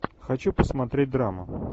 хочу посмотреть драму